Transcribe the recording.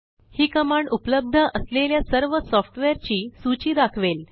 ही command उपलब्ध असलेल्या सर्व सॉफ्टवेअरची सूची दाखवेल